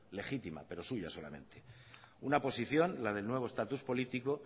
legítima pero suya solamente una posición la del nuevo estatus político